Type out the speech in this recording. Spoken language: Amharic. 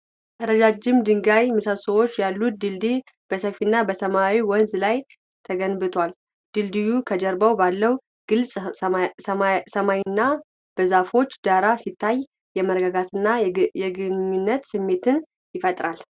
ረጃጅም ድንጋይ ምሰሶዎች ያለው ድልድይ በሰፊና ሰማያዊ ወንዝ ላይ ተገንብቷል። ድልድዩ ከጀርባ ባለው ግልጽ ሰማይና በዛፎች ዳራ ሲታይ የመረጋጋትንና የግንኙነትን ስሜት ይፈጥራል።